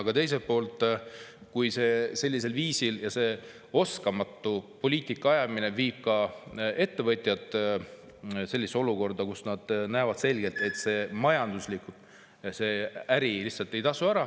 Aga teiselt poolt viib sellisel viisil oskamatult poliitika ajamine ettevõtjad olukorda, kus nad näevad selgelt, et majanduslikult see äri lihtsalt ei tasu ära.